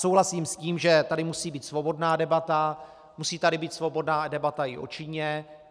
Souhlasím s tím, že tady musí být svobodná debata, musí tady být svobodná debata i o Číně.